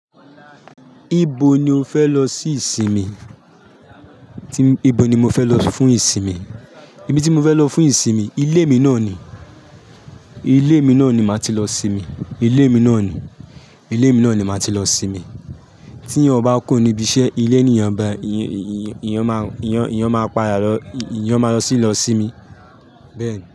Ibo ni o fẹ lọ sì ìsinmi? Ibo ni mo fẹ lọ fún ìsinmi? Ibi tí mo fẹ lọ fún ìsinmi, ilé mi náà ni. Ilé mi náà ni màá ti lọ sinmi. Ilé mi náà ni. Ilé mi náà ni màá ti lọ sinmi. Tí eyan ba kuro ní ibi iṣẹ́, ilé ni ọba, ìyàn máa pa lo, ìyàn máa lọ sì lọ sinmi. Bẹ́ẹ̀ni.